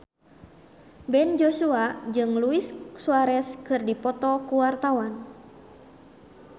Ben Joshua jeung Luis Suarez keur dipoto ku wartawan